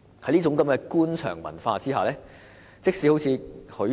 "在這種官場文化下，即使如許